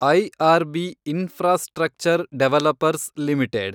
IRB infrastructure developers limited